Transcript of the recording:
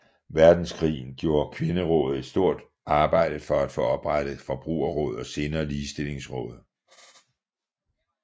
Verdenskrig gjorde Kvinderådet et stort arbejde for at få oprettet Forbrugerrådet og senere Ligestillingsrådet